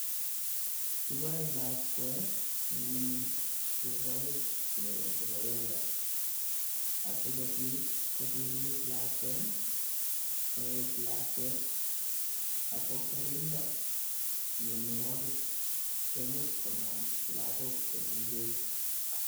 Kiboe lakwet ne mining keboe chego chebo yorgurt, asi kobit kokimit lakwet, koet lakwet ak kokerindo mionwogik chemuch konam lagok che mengech.